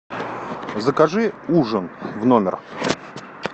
закажи ужин в номер